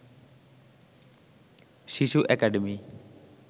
শিশু একাডেমি